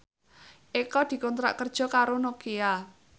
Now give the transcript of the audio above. Eko dikontrak kerja karo Nokia